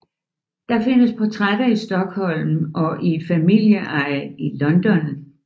Der findes portrætter i Stockholm og i familieeje i London